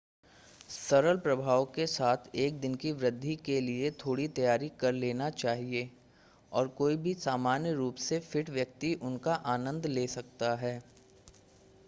सरल प्रभाव के साथ एक दिन की वृद्धि के लिए थोड़ी तैयारी कर लेनी चाहिए और कोई भी सामान्य रूप से फिट व्यक्ति उनका आनंद ले सकता है